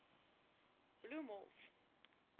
bloemhof